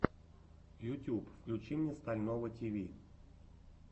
ютьюб включи мне стального тиви